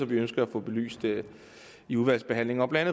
vi ønsker at få belyst i udvalgsbehandlingen og blandt